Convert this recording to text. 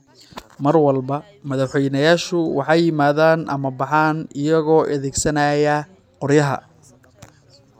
Mar walba, madaxweynayaashu waxay yimaadaan ama baxaan iyagoo adeegsanaya qoryaha.